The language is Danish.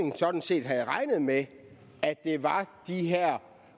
sådan set havde regnet med at det var de her